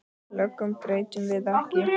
Lögunum breytum við ekki.